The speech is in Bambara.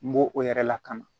N b'o o yɛrɛ lakana